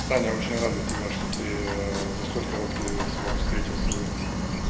саня очень рад за тебя что ты за столь короткий срок встретил свою